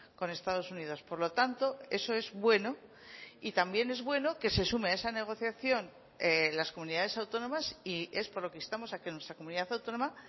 con estados unidos por lo tanto eso es bueno y también es bueno que se sume a esa negociación las comunidades autónomas y es por lo que instamos a que nuestra comunidad autónoma